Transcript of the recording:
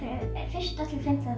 fyrsta til fimmta